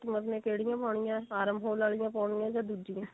customer ਨੇ ਕਿਹੜੀਆਂ ਪਾਉਣੀਆਂ arm hole ਵਾਲੀਆਂ ਪਾਉਣੀਆਂ ਜਾਂ ਦੂਜੀਆਂ